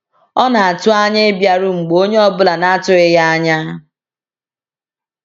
Ọ na-atụ anya ịbịaru mgbe onye ọ bụla na-atụghị ya anya.